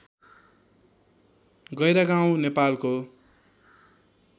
गैह्रागाउँ नेपालको